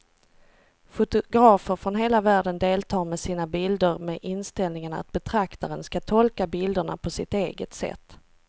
Fotografer från hela världen deltar med sina bilder med inställningen att betraktaren ska tolka bilderna på sitt eget sätt.